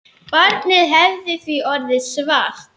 Barnið hefði því orðið svart.